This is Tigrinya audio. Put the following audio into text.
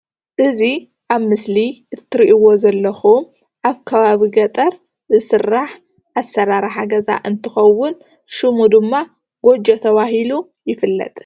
እዚ ኣብ ምስሊ እትሪኢዎ ዘለኹም ኣብ ከባቢ ገጠር ዝስራሕ ኣሰራርሓ ገዛ እንትኸውን ሽሙ ድማ ጎጆ ተባሂሉ ይፍለጥ፡፡